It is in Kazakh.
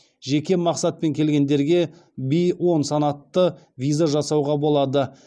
жеке мақсатпен келгендерге в он санатты виза жасауға болады